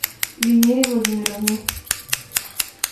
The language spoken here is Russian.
венере владимировне